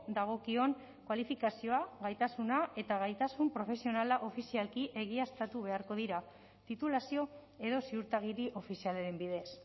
dagokion kualifikazioa gaitasuna eta gaitasun profesionala ofizialki egiaztatu beharko dira titulazio edo ziurtagiri ofizialaren bidez